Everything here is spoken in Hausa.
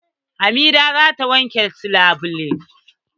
Hamida za ta wanke su labulai.